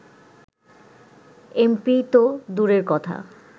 MP তো দূরের কথা